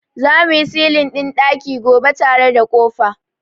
Za mu yi silin ɗin ɗaki gobe tare da ƙofa.